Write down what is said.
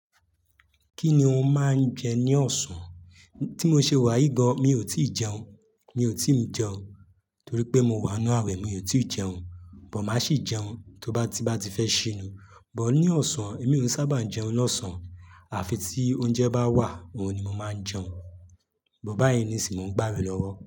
Kí ni òun máa ń jẹ ní ọ̀sán? Tí mo ṣe wà yì gan, mi ò tì jẹun, mi ò tí le jẹun, torí pé mo wà n nú àwẹ̀, mi ò tí jẹun, but màá sì jẹun tó bá ti n bá ti fẹ́ ṣínu. But ní ọ̀sán, èmi ò sábà ń jẹun lọ́sàn-án, à fi tí oúnjẹ bá wà, òun ni mo máa ń jẹun. But báyíi nìsìń, mo ń gbà awe lọ́wọ́.